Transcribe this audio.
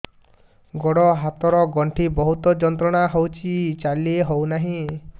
ଗୋଡ଼ ହାତ ର ଗଣ୍ଠି ବହୁତ ଯନ୍ତ୍ରଣା ହଉଛି ଚାଲି ହଉନାହିଁ